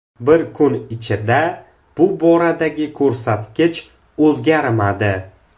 Bir kun ichida bu boradagi ko‘rsatkich o‘zgarmadi.